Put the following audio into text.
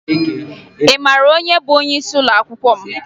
Ị mara onye bụ onyeisi ụlọakwụkwọ m?